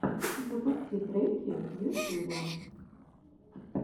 запусти треки в ютюбе